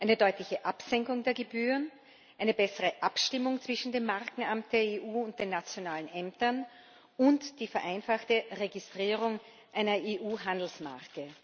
Eine deutliche Absenkung der Gebühren, eine bessere Abstimmung zwischen dem Markenamt der EU und den nationalen Ämtern und die vereinfachte Registrierung einer EU Handelsmarke.